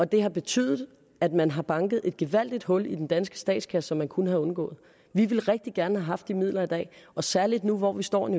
det har betydet at man har banket et gevaldigt hul i den danske statskasse som man kunne have undgået vi ville rigtig gerne have haft de midler i dag og særligt nu hvor vi står i